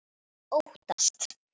Að óttast!